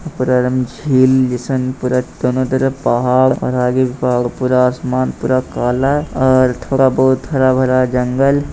उ पर एकदम झील जैसन पूरा दोनों तरफ पहाड़ और आगे भी पहाड़ पूरा आसमान पूरा काला और थोड़ा बहुत हरा-भरा जंगल।